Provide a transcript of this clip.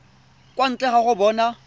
kwa ntle ga go bona